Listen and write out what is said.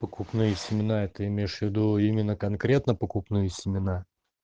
покупные семена ты имеешь в виду именно конкретно покупные семена